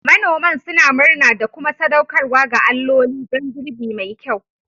Manoman suna murna da kuma sadaukarwa ga alloli don girbi mai kyau.